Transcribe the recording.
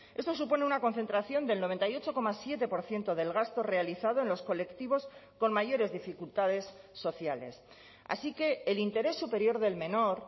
esto supone una concentración del noventa y ocho coma siete por ciento del gasto realizado en los colectivos con mayores dificultades sociales así que el interés superior del menor